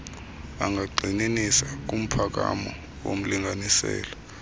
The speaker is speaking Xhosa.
angagxininisa kumphakamo womlinganiselo